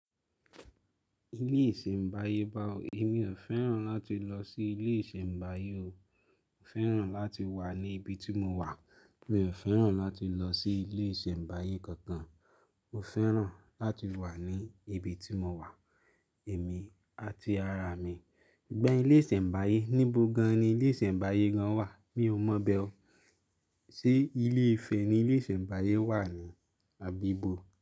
Ilé ìṣẹ̀mbáyé ba wó, èmi ò fẹ́ràn láti lọ sí ilé ìṣẹ̀mbáyé o. Mo fẹ́ràn láti wà ní ibi tí mo wà. Mi ò fẹ́ràn láti lọ sí ilé ìṣẹ̀mbáyé kankan. Mo fẹ́ràn láti wà ní ibi tí mo wà, èmi àti ara mi. Ṣùgbọ́n ilé ìṣẹ̀mbáyé, níbo gan-an ni ilé ìṣẹ̀mbáyé gan wà? Mi ò mọ̀ bẹ́ ọ. Ṣé ilé ifẹ̀ ni ilé ìṣẹ̀mbáyé wà ni àbí ibo?